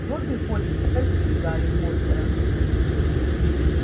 добби хочет спасти гарри поттера